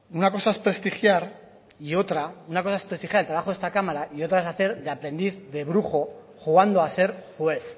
una cosa es prestigiar y otra una cosa es prestigiar el trabajo de esta cámara y otra es hacer de aprendiz de brujo jugando a ser juez